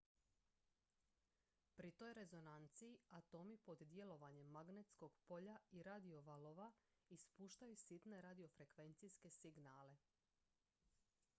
pri toj rezonanciji atomi pod djelovanjem magnetskog polja i radiovalova ispuštaju sitne radiofrekvencijske signale